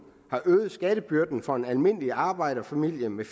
har øget skattebyrden for en almindelig arbejderfamilie med